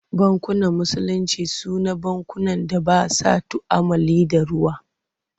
Bankunan Musulinci Su na bankunan da ba sa tu'ammali da ruwa.